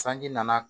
Sanji nana